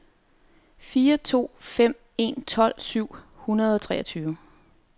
fire to fem en tolv syv hundrede og treogtredive